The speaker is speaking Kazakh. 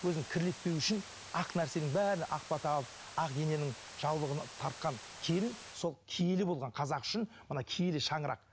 өзін кірлетпеу үшін ақ нәрсенің бәрін ақ бата алып ақ ененің жаулығын тартқан келін сол киелі болған қазақ үшін мына киелі шаңырақ